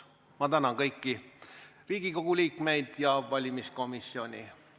Ma tänan kõiki Riigikogu liikmeid ja valimiskomisjoni.